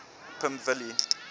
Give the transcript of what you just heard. pimvilli